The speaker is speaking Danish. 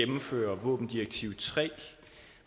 ordfører